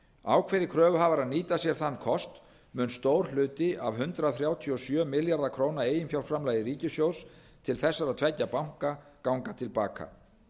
ákveði kröfuhafar að nýta sér þann kost mun stór hluti af hundrað þrjátíu og sjö milljarða króna eiginfjárframlagi ríkissjóðs til þessara tveggja banka ganga til baka